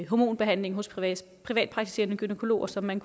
hormonbehandling hos privatpraktiserende gynækologer som man